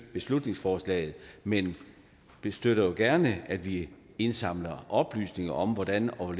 beslutningsforslaget men vi støtter jo gerne at vi indsamler oplysninger om hvordan og